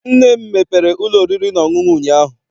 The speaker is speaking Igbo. Nne m mepere ụlọ oriri na ọṅụṅụ ụnyaahụ.